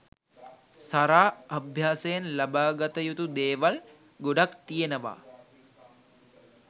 සරා අභ්‍යාසයෙන් ලබා ගත යුතු දේවල් ගොඩක් තියෙනවා.